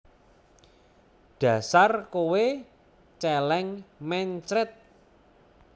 Dasar kowe Celeng mencret